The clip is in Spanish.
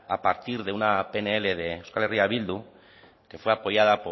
a partir de una pnl de euskal herria bildu que fue apoyada